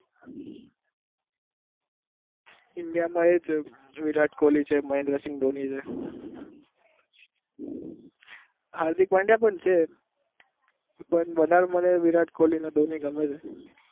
India માં એ છે ક વિરાટ કોહલી છે મહેન્દ્રસિંહ ધોની